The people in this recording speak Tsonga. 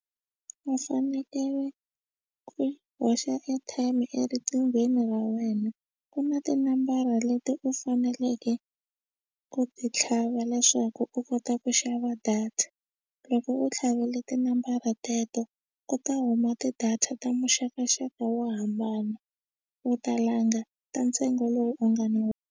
Va fanekele ku hoxa airtime eriqinghweni ra wena ku na tinambara leti u faneleke ku ti tlhava leswaku u kota ku xava data loko u tlhavile tinambara teto ku ta huma ti-data ta muxakaxaka wo hambana u ta langa ta ntsengo lowu u nga na woho.